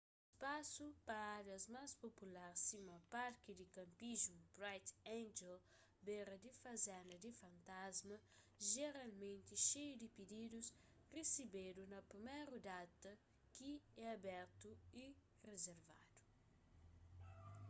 spasu pa árias más popular sima parki di kanpismu bright angel bera di fazenda di fantasma jeralmenti xeiu di pididus resebedu na priméru data ki é abertu y rizervadu